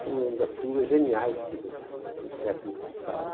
Foi uma das figuras geniais que do do século passado.